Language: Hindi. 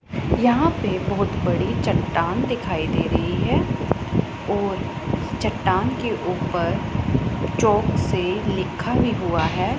यहां पे बहोत बड़ी चट्टान दिखाई दे रही है और चट्टान के ऊपर चॉक से लिखा हुआ है।